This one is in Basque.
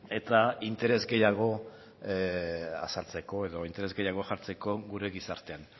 eta interes gehiago azaltzeko edo interes gehiago jartzeko gure gizartean